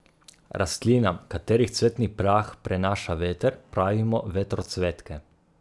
Rastlinam, katerih cvetni prah prenaša veter, pravimo vetrocvetke.